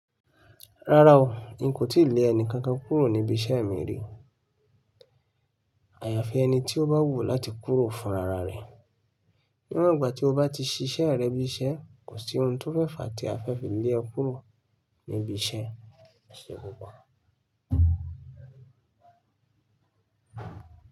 Rárá o, n kò tí lé ẹni kankan kúrò ní ibi iṣẹ́ mi rí. Àyàfi ẹni tí ó bá wù láti kúrò fúnrárá rẹ̀. Ní won gbà tí o bá ti ṣiṣẹ́ rẹ bí iṣẹ́, kò sí ohun tó fẹ́ fà á tí a fẹ́ fi lé e kúrò níbi iṣẹ́. Ṣé gbogbo?